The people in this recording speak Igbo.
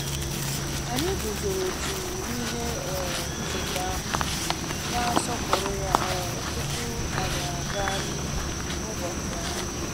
Anyị guzoro jụụ n'ihe um ncheta ahụ, na-asọpụrụ ya um tupu anyị aga n'ihu n'ụbọchị ahụ